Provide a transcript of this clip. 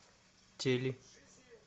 тели